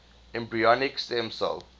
embryonic stem cell